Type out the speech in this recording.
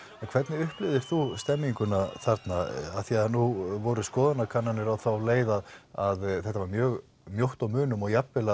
hvernig upplifðir þú stemninguna þarna af því að nú voru skoðanakannanir á þá leið að að þetta var mjög mjótt á munum og jafn vel